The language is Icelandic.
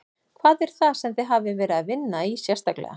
Hvað er það sem þið hafið verið að vinna í sérstaklega?